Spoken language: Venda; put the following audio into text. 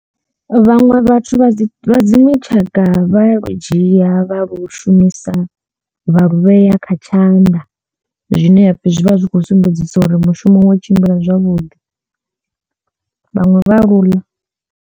Vhaṅwe vhathu vha dzi dziṅwe tshanga vha lu dzhia vha lu shumisa vha lu vhea kha tshanḓa zwine hapfhi zwi vha zwi khou sumbedzisa uri mushumo wo tshimbila zwavhuḓi, vhaṅwe vha lu ḽa.